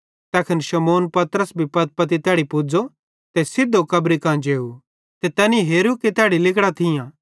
तैखन शमौन पतरस भी पत्तीपत्ती तैड़ी पुज़ो ते सिधो कब्री मां जेव तैनी हेरू कि तैड़ी लिगड़ां थियां